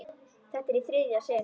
Þetta er í þriðja sinn.